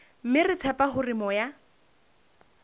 mme re tshepa hore moya